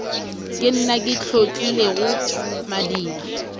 ke nna ke hlotlilego madiba